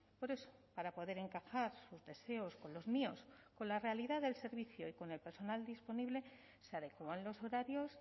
por eso para poder encajar sus deseos con los míos con la realidad del servicio y con el personal disponible se adecúan los horarios